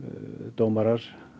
dómarar